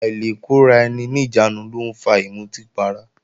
Àìlekóraeni-níjàánu ló ń fa ìmutí para